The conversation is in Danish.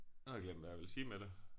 Nu har jeg glemt hvad jeg ville sige med det